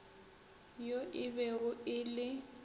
yo e bego e le